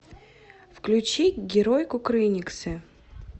включи герой кукрыниксы